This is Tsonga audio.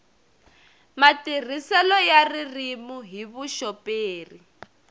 matirhiselo ya ririmi hi vuxoperi